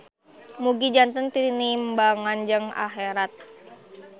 Mugi janten tinimbangan jang aherat